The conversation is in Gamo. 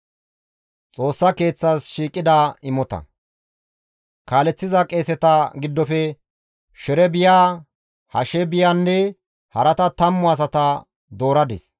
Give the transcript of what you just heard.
Kaaleththiza qeeseta giddofe Sherebiya, Hashaabiyanne harata 10 asata dooradis.